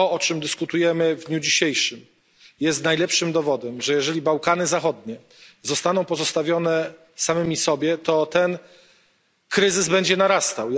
To, o czym dyskutujemy w dniu dzisiejszym, jest najlepszym dowodem, że jeżeli Bałkany Zachodnie zostaną pozostawione samym sobie, to ten kryzys będzie narastał.